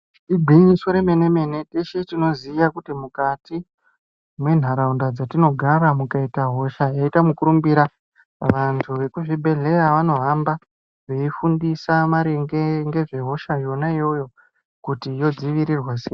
Igwinyiso remene mene teshe tinoziya kuti mukati mwentaraunda dzatinogara mukaita hosha yaita mukurumbira vantu vekuzvibhedhleya vanohamba veidzidzisa maringe nezvehosha yona iyoyo kuti yodzivirirwa sei.